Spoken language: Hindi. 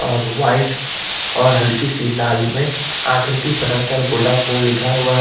और वाइट और हल्की सी लाल में आख्रिथि बनाकर वोडाफोन लिखा हुआ है।